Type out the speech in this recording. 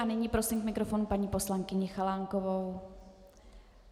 A nyní prosím k mikrofonu paní poslankyni Chalánkovou.